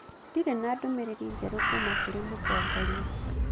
Ndirĩ na ndũmĩrĩri njerũ kuuma kũrĩ mũtongoria